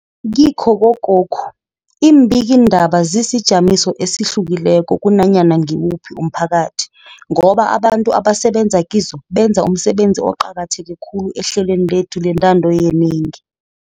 Kikho kokokhu, iimbikii ndaba zisijamiso esihlukileko kunanyana ngiwuphi umphakathi, ngoba abantu abasebenza kizo benza umsebenzi oqakatheke khulu ehlelweni lethu lentando yenengi.